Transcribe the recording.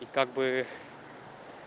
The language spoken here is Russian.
и как бы